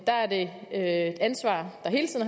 der er det ansvar